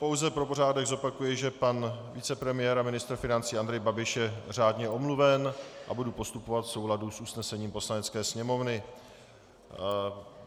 Pouze pro pořádek zopakuji, že pan vicepremiér a ministr financí Andrej Babiš je řádně omluven, a budu postupovat v souladu s usnesením Poslanecké sněmovny.